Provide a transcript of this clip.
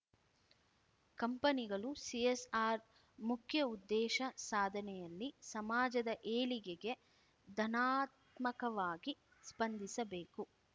ಕಂಪನಿಗಳು ಸಿಎಸ್‌ಆರ್ ಮುಖ್ಯ ಉದ್ದೇಶ ಸಾಧನೆಯಲ್ಲಿ ಸಮಾಜದ ಏಳಿಗೆಗೆ ಧನಾತ್ಮಕವಾಗಿ ಸ್ಪಂದಿಸಬೇಕು